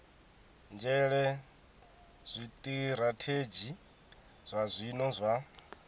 nzhele zwitirathedzhi zwa zwino zwa